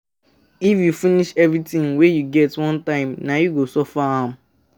If you finish everything wey you get one time, nah you go suffer am.